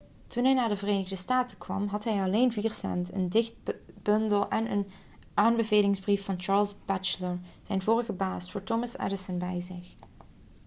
toen hij naar de verenigde staten kwam had hij alleen 4 cent een dichtbundel en een aanbevelingsbrief van charles batchelor zijn vorige baas voor thomas edison bij zich